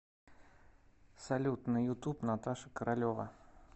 салют на ютуб наташа королева